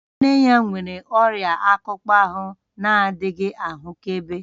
Nne ya nwere ọrịa akpụkpọ ahụ na-adịghị ahụkebe